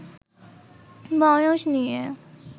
বয়স নিয়ে